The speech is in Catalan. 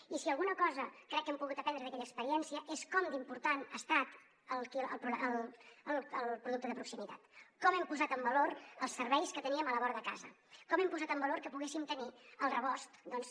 i si alguna cosa crec que hem pogut aprendre d’aquella experiència és com d’important ha estat el producte de proximitat com hem posat en valor els serveis que teníem a la vora de casa com hem posat en valor que poguéssim tenir al rebost doncs